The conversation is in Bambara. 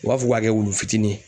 U b'a fɔ k'u b'a kɛ wulu fitini ye.